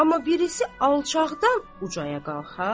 amma birisi alçaqdan ucaya qalxa,